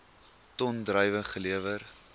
ton druiwe gelewer